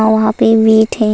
ओ वहाँ पे वेट हैं --